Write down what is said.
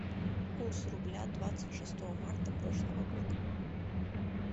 курс рубля двадцать шестого марта прошлого года